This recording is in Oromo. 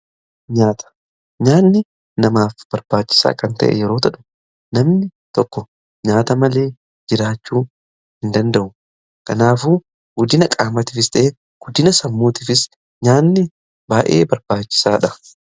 nyaata, nyaanni namaaf barbaachisaa kan ta'e yeroo tahu namni tokko nyaata malee jiraachuu hin danda'u kanaafuu guddina qaamatiifis ta'e guddina sammuutiifis nyaanni baay'ee barbaachisaadha.